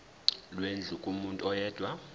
lwendlu kumuntu oyedwa